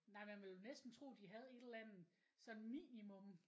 Nej man ville jo næsten tro de havde et eller anden sådan minimum